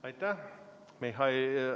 Aitäh!